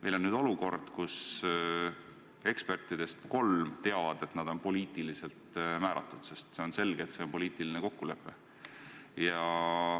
Meil on olukord, kus ekspertidest kolm teavad, et nad on poliitiliselt määratud, sest on selge, et see on poliitiline kokkulepe.